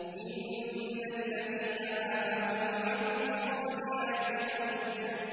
إِنَّ الَّذِينَ آمَنُوا وَعَمِلُوا الصَّالِحَاتِ لَهُمْ جَنَّاتٌ